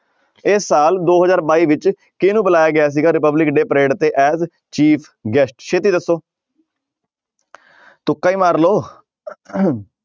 ਇਸ ਸਾਲ ਦੋ ਹਜ਼ਾਰ ਬਾਈ ਵਿੱਚ ਕਿਹਨੂੰ ਬੁਲਾਇਆ ਗਿਆ ਸੀਗਾ republic day parade ਤੇ as chief guest ਛੇਤੀ ਦੱਸੋ ਤੁੱਕਾ ਹੀ ਮਾਰ ਲਓ